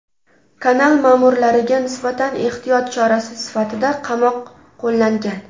Kanal ma’murlariga nisbatan ehtiyot chorasi sifatida qamoq qo‘llangan.